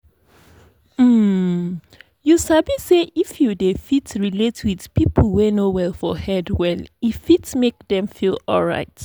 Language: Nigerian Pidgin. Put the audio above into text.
um you sabi say if you dey fit relate with people wey no well for head well e fit make them feel alright.